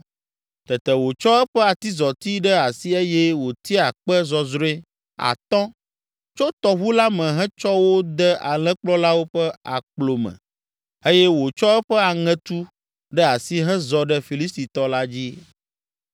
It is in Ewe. Tete wòtsɔ eƒe atizɔti ɖe asi eye wotia kpe zɔzrɔ̃e atɔ̃ tso tɔʋu la me hetsɔ wo de alẽkplɔlawo ƒe akplo me eye wòtsɔ eƒe aŋetu ɖe asi hezɔ ɖe Filistitɔ la dzi.